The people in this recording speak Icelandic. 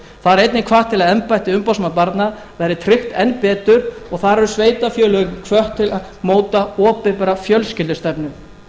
er einnig hvatt til að embætti umboðsmanns barna verði tryggt enn betur og þar eru sveitarfélögin hvött til að móta opinbera fjölskyldustefnu